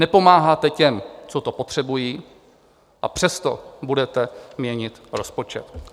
Nepomáháte těm, co to potřebují, a přesto budete měnit rozpočet.